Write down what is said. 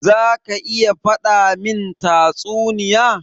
Za ka iya faɗa min tatsuniya?